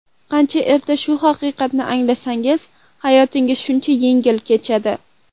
Qancha erta shu haqiqatni anglasangiz, hayotingiz shuncha yengil kechadi.